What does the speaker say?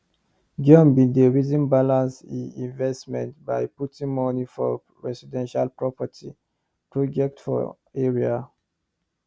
john bin dey reason balance e investment by putting moni for residential property project for area